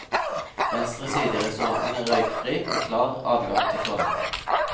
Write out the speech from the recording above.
Venstre side i restauranten er røykfri, med klar adgang til toalettene.